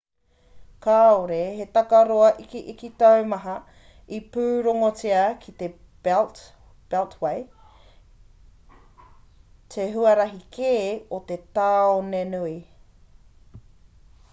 kāore he takaroa ikiiki taumaha i pūrongotia ki te beltway te huarahi kē o te tāonenui